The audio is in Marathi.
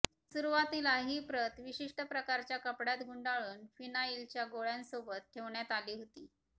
सुरुवातीला ही प्रत विशिष्ट प्रकारच्या कपड्यात गुंडाळून फिनाइलच्या गोळ्यांसोबत ठेवण्यात आली होती